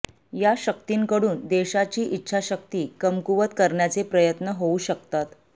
या शक्तींकडून देशाची इच्छाशक्ती कमकुवत करण्याचे प्रयत्न होऊ शकतात